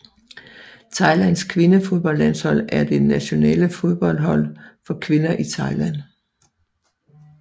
Thailands kvindefodboldlandshold er det nationale fodboldhold for kvinder i Thailand